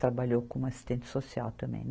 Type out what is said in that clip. Trabalhou como assistente social também.